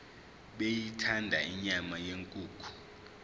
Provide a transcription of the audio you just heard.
beyithanda inyama yenkukhu